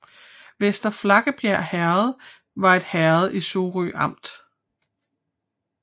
Vester Flakkebjerg Herred var et herred i Sorø Amt